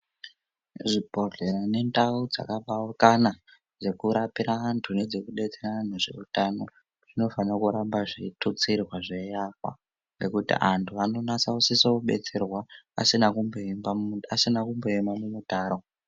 Zvibhedhlera nendau dzakapaukana dzekurapira vantu nedzekudetsera vantu zveutano zvinofanira kuramba zveitutsirwe zveiakwa ngekuti antu anonase kusise kubetserwa asina kumboemba mu, asina kumboema mumutaro.